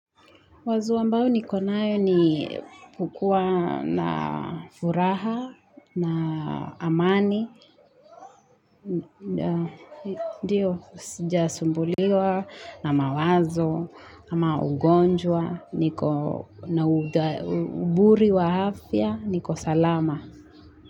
Wazo ambao nikonayo ni kukuwa na furaha na amani. Ndiyo, sijasumbuliwa na mawazo, na ama ugonjwa, niko na uburi wa afya, niko salama.